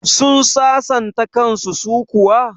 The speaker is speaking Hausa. Sun sasanta kan su kuwa?